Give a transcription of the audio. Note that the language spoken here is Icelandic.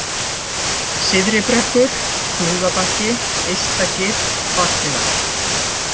Syðri-Brekkur, Flúðabakki, Yztagil, Vaglar